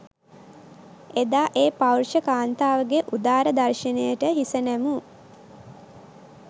එදා ඒ පෞරුෂ කාන්තාවගේ උදාර දර්ශනයට හිස නැමූ